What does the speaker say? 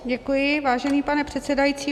Děkuji, vážený pane předsedající.